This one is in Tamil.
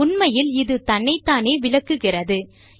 உண்மையில் இது தன்னைத்தானே விளக்குகிறது